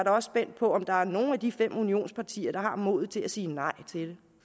også spændt på om der er nogen af de fem unionspartier der har modet til at sige nej til det